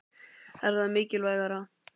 Er það mikilvægara?